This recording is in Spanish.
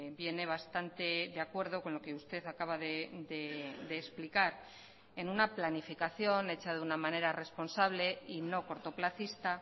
viene bastante de acuerdo con lo que usted acaba de explicar en una planificación hecha de una manera responsable y no cortoplacista